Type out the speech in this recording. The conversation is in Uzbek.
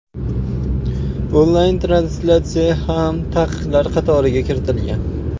Onlayn translyatsiya ham taqiqlar qatoriga kiritilgan.